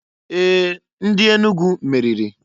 Ee! Ndị Enugu meriri.